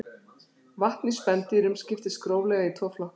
vatn í spendýrum skiptist gróflega í tvo flokka